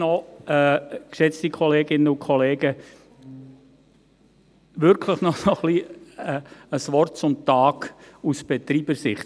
Aber, geschätzte Kolleginnen und Kollegen, wirklich noch ein Wort zum Tag aus Betreibersicht.